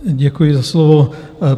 Děkuji za slovo.